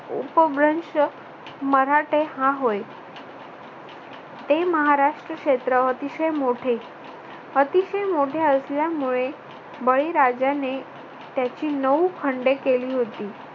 उपभ्रंश मराठे हा होय. ते महाराष्ट्र क्षेत्र अतिशय मोठे. अतिशय मोठे असल्यामुळे बळीराजाने त्याची नऊ खंडे केली होती.